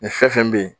Nin fɛn fɛn bɛ yen